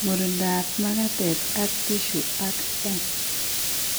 Murindab magatet ak tissue ak M